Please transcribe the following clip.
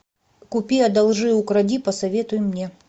купи одолжи укради посоветуй мне